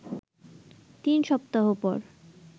তিন সপ্তাহ পর